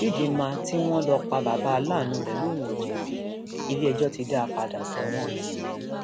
chidinma tí wọn lọ pa bàbá aláàánú rẹ lòun ò jẹbi iléẹjọ ti dá a padà sẹwọn